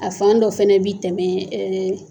A fan dɔ fana bi tɛmɛ